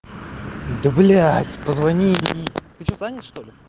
да блядь позвони и ты что занят что-ли